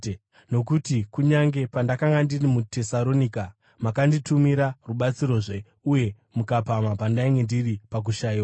nokuti kunyange pandakanga ndiri muTesaronika, makanditumira rubatsirozve uye mukapamha pandainge ndiri pakushayiwa.